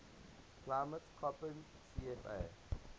climate koppen cfa